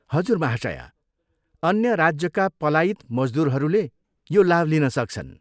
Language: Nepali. हजुर महाशया! अन्य राज्यका पलायित मजदुरहरूले यो लाभ लिन सक्छन्।